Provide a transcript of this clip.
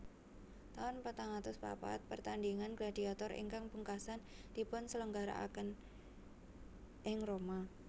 Taun patang atus papat Pertandhingan gladiator ingkang pungkasan dipunselenggarakan ing Roma